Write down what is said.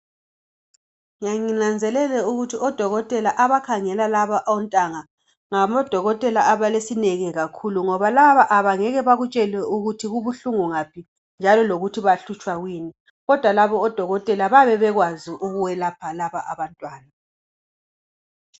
Ngiya nginanzelele ukuthi odokotela abakhangela laba ontanga ngabodokotela abalesineke kakhulu ngoba laba abangeke bakutshele ukuthi kubuhlungu ngaphi njalo lokuthi bahlutshwa kuyini kodwa laba odokotela bayabe bekwazi ukubalapha laba abantwana.